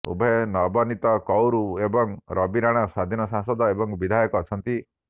ଉଭୟ ନବନିତ କୌର ଏବଂ ରବି ରଣା ସ୍ବାଧୀନ ସାଂସଦ ଏବଂ ବିଧାୟକ ଅଛନ୍ତି